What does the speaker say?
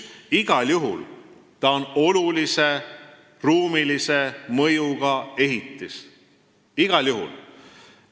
Igal juhul on see olulise ruumilise mõjuga ehitis, igal juhul.